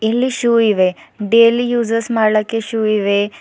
ಇಲ್ಲಿ ಷ್ಯೂ ಇವೆ daily uses ಮಾಡ್ಲಕ್ಕೆ ಷ್ಯೂ ಇವೆ.